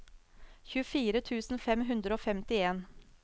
tjuefire tusen fem hundre og femtien